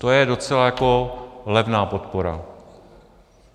To je docela jako levná podpora.